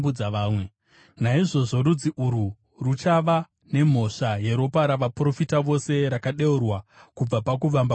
Naizvozvo rudzi urwu ruchava nemhosva yeropa ravaprofita vose, rakadeurwa kubva pakuvamba kwenyika,